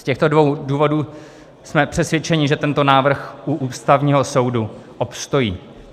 Z těchto dvou důvodů jsme přesvědčeni, že tento návrh u Ústavního soudu obstojí.